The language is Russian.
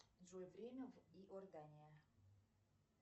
джой время в иордания